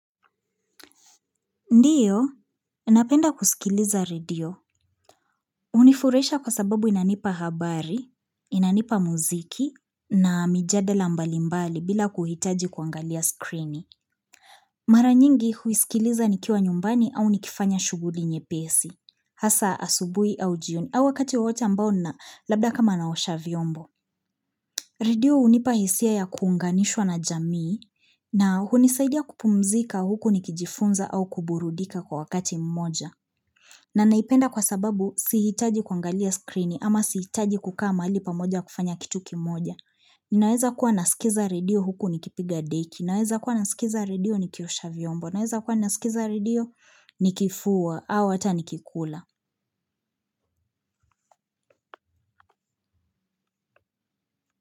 Ndiyo, napenda kusikiliza radio unifurahisha kwa sababu inanipa habari, inanipa muziki na mijadela mbalimbali bila kuhitaji kuangalia screeni. Mara nyingi husikiliza nikiwa nyumbani au nikifanya shuguli nyepesi, hasa asubui au jioni au wakati wote ambao na labda kama naosha vyombo. Radio unipa hisia ya kuunganishwa na jamii na hunisaidia kupumzika huku nikijifunza au kuburudika kwa wakati mmoja. Na naipenda kwa sababu sihitaji kuangalia screeni ama sihitaji kukaa pamoja kufanya kitu kimoja. Ninaweza kuwa nasikiza radio huku nikipiga deki. Ninaweza kuwa nasikiza radio nikiosha vyombo. Ninaweza kuwa nasikiza radio nikifua au hata nikikula.